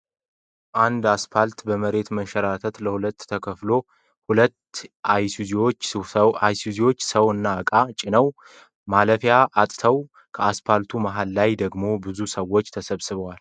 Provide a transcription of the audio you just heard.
አንድ አስፓልት በመሬት መንሸራተት ለሁለት ተከፍሎ ሁለት አይሱዚዎች ሰው እና እቃ ጭነው ማለፊያ አጥተዋል። ከአስፓልቱ መሀል ላይ ደግሞ ብዙ ሰወች ተሰብስበዋል